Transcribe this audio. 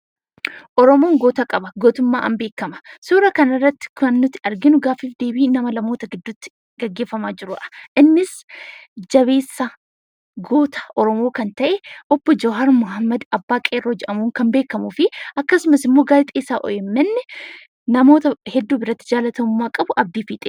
Oromoon goota qaba, gootummaadhaan beekama. Suura kana irratti kan nuti arginu gaaffii fi deebii namoota lama gidduutti gaggeeffamaa jirudha. Innis jabeessa goota Oromoo kan ta'e Obboo Jawaar Mohaammad abbaa qeerroo jedhamuun kan beekamu fi gaazexeessaa OMN, namoota hedduu biratti jaallatamummaa qabu Abdii Fiixeeti.